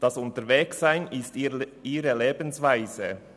Das Unterwegssein ist ihre Lebensweise.